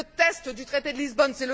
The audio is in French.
c'est le test du traité de Lisbonne